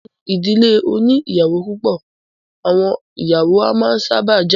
Nínú ìdílé oní ìyàwó púpọ̀, àwọn ìyàwó a máa sábà jà.